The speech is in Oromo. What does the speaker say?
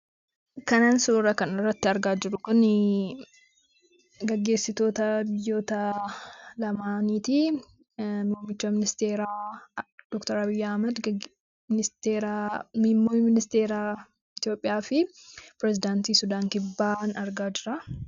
Kan suuraa kanarratti argaa jirru kun gaggeessitoota biyyoota lamaaniiti. Muummicha ministeeraa doktar Abiy Ahmad akkasumas ministeera Itoophiyaa fi pirezedaantiin Sudaan kibbaan argaan jira.